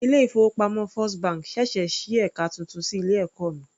Ilé ìfowópamọ́ first bank sẹ̀sẹ̀ sí ẹka titun ní ilé ẹ̀kọ́ mi.